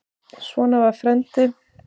Svona var frændi.